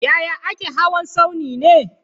Yaya ake hawa tsauni ne?